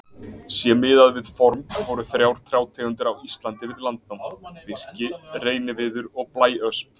Sé miðað við form voru þrjár trjátegundir á Íslandi við landnám: Birki, reyniviður og blæösp.